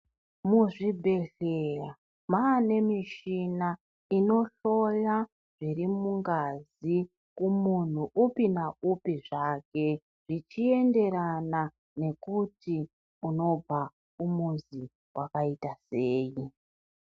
Muzvibhedhlera maane michina inohloya zvirimungazi kumunhu upi naupi zvake, zvichienderana nekuti unobva kumuzi kwakaita sei.